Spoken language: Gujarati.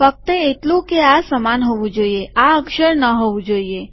ફક્ત એટલું કે આ સમાન હોવું જોઈએ આ અક્ષર ન હોવું જોઈએ